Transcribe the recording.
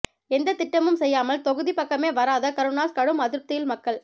எந்த திட்டமும் செய்யாமல் தொகுதி பக்கமே வராத கருணாஸ் கடும் அதிருப்தியில் மக்கள்